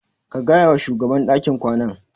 Ka gaya wa shugaban dakin kwanan.